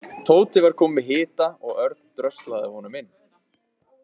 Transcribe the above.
Tóti var kominn með hita og Örn dröslaði honum inn.